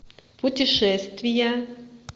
путешествия